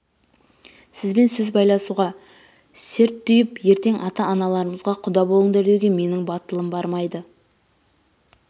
сізбен сөз байласуға серттүйіп ертең ата-аналарымызға құда болыңдар деуге менің батылым бармайды